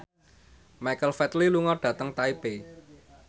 Michael Flatley lunga dhateng Taipei